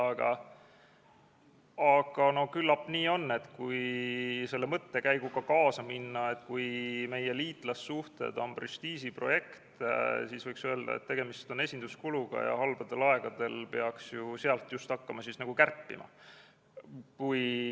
Aga küllap nii on, et kui selle mõttekäiguga kaasa minna, et meie liitlassuhted on prestiižiprojekt, siis võiks öelda, et tegemist on esinduskuluga ja halbadel aegadel peaks ju sealt hakkama kärpima.